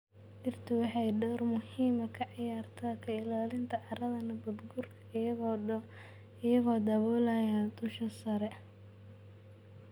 Dhirtu waxay door muhiim ah ka ciyaartaa ka ilaalinta carrada nabaadguurka iyagoo daboolaya dusha sare.